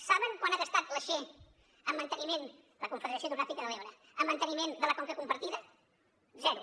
saben quan ha gastat la che en manteniment la confederació hidrogràfica de l’ebre en manteniment de la conca compartida zero